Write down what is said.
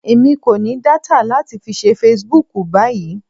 Èmi kò ní data láti fi ṣe Facebook báyìí.